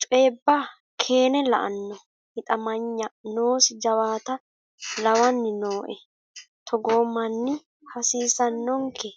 coyibba keene la'ano hixamanya noosi jawaatta lawani nooe togoo manni hasiisanonke.